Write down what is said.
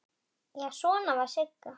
Já, svona var Sigga!